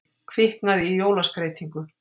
Kviknaði í jólaskreytingu